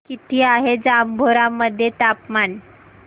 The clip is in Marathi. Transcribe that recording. किती आहे जांभोरा मध्ये तापमान